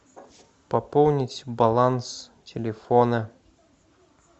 пополнить баланс телефона